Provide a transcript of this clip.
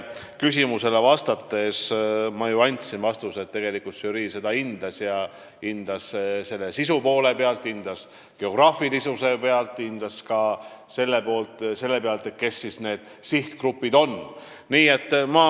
Ma ju andsin vastuse, et žürii hindas seda kattuvust sisu aspektist ning ka geograafilise paiknemise ja sihtgrupi aspektist.